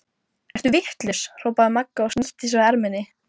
Ertu vitlaus! hrópaði Magga og snýtti sér á erminni.